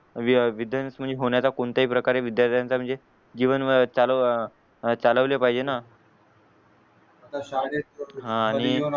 विद्धवंस होण्याचा कोणत्या ही प्रकारे विद्यार्थ्यांच्या म्हणजे जीवन अह चालू अह चालवले पाहिजे ना हा आणि